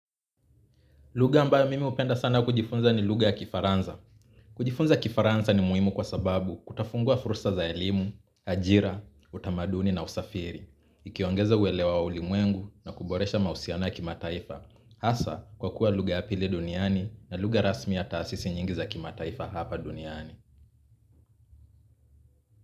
Lugha ambayo mimi hupenda sana kujifunza ni lugha ya kifaransa. Kujifunza kifaransa ni muhimu kwa sababu kutafungua fursa za elimu, ajira, utamaduni na usafiri. Ikiongeza uelewa wa ulimwengu na kuboresha mahusiano ya kimataifa. Hasa kwa kuwa lugha ya pili duniani na lugha rasmi ya taasisi nyingi za kimataifa hapa duniani.